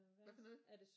Hvad for noget?